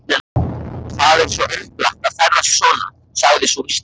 Það er svo upplagt að ferðast svona, sagði sú íslenska.